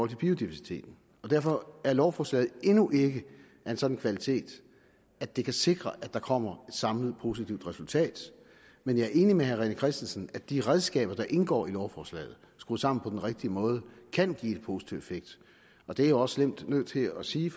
til biodiversiteten derfor er lovforslaget endnu ikke af en sådan kvalitet at det kan sikre at der kommer samlet positivt resultat men jeg er enig med herre rené christensen i at de redskaber der indgår i lovforslaget skruet sammen på den rigtige måde kan give en positiv effekt og det er jeg også slemt nødt til at sige